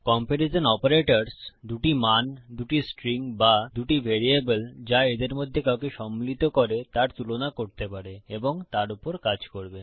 comparison operators দুটি মান দুটি স্ট্রিং বা দুটি ভ্যারিয়েবল যা এদের মধ্যে কাউকে সম্মিলিত করে তার তুলনা করতে পারে এবং তার উপর কাজ করবে